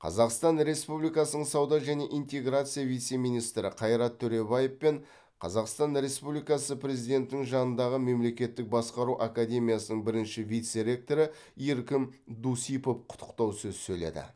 қазақстан республикасының сауда және интеграция вице министрі қайрат төребаев пен қазақстан республикасы президентінің жанындағы мемлекеттік басқару академиясының бірінші вице ректоры еркін дусипов құттықтау сөз сөйледі